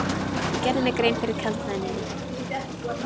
Ég gerði mér grein fyrir kaldhæðninni.